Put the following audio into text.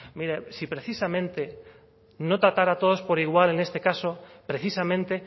mire si precisamente no tratara a todos por igual en este caso precisamente